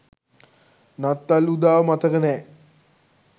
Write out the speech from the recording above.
නත්තල් උදාව මතක නෑ